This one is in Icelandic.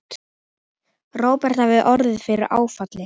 Róbert hafði orðið fyrir áfalli.